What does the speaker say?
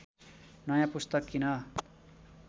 नँया पुस्तक किन